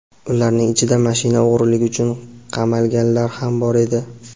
Ularning ichida mashina o‘g‘riligi uchun qamalganlar ham bor edi.